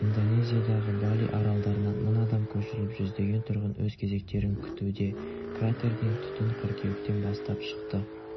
индонезиядағы бали аралдарынан мың адам көшіріліп жүздеген тұрғын өз кезектерін күтуде кратерден түтін қыркүйектен бастап шықты